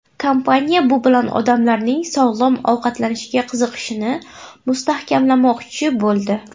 Kompaniya bu bilan odamlarning sog‘lom ovqatlanishga qiziqishini mustahkamlamoqchi bo‘ldi.